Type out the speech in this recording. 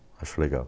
acho legal.